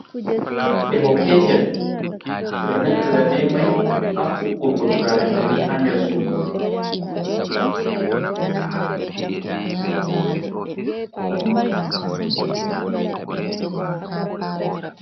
Feho petel. Ɓe ɗo naftira bei mai haa huɓɓurgo turaren wuta haa nder sudu.